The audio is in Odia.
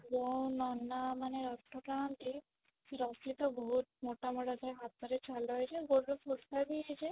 ଯୋଉ ନନା ମାନେ ରଥ ଟାଣନ୍ତି ସେ ରସି ତ ବହୁତ ମୋଟା ମୋଟା ଥାଏ ହାତରେ ଛାଲ ହେଇଥାଏ ଗୋଡ଼ରେ ଫୋଟକା ବି ହେଇଯାଏ